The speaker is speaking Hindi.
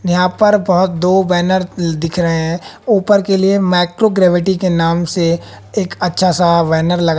यहां पर बहुत दो बैनर दिख रहे हैं ऊपर के लिए माइक्रोग्राविटी के नाम से एक अच्छा सा बैनर लगा--